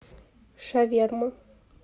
шаверма